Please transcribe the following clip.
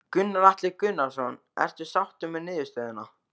Gunnar Atli Gunnarsson: Ertu sáttur með niðurstöðuna?